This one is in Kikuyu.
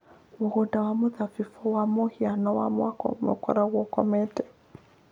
Mũgũnda wa mĩthabibũ wa mũhiano wa mwaka ũmwe ũkoragwo ũkomete.